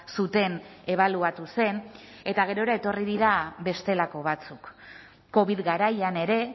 zuten ebaluatu zen eta gerora etorri dira bestelako batzuk covid garaian ere